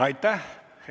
Aitäh!